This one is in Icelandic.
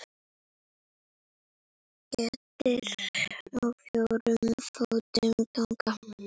Kettir á fjórum fótum ganga.